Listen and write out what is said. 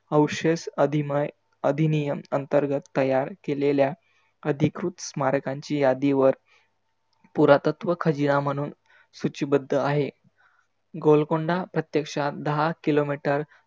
औशेष अभीमय आधिनीयम अंतर्गत तयार केलेल्या आधिकृत स्मारकांच्या यादींवर पुरातत्व खजीना म्हणूंत सुचीबद्ध आहे. गोलकोंडा प्रत्यक्षात दहा KILOMETER